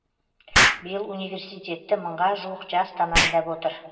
биыл университетті мыңға жуық жас тәмамдап отыр